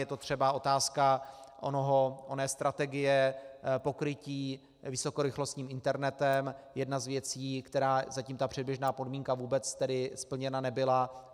Je to třeba otázka oné strategie pokrytí vysokorychlostním internetem, jedna z věcí, kde zatím ta předběžná podmínka vůbec tedy splněna nebyla.